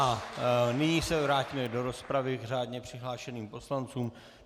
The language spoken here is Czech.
A nyní se vrátíme do rozpravy k řádně přihlášeným poslancům.